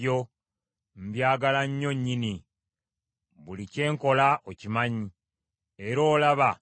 Buli kye nkola okimanyi, era olaba nga bwe nkwata ebiragiro byo.